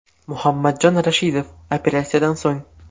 Muhammadjon Rashidov operatsiyadan so‘ng.